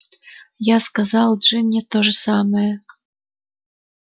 я сказал джинни то же самое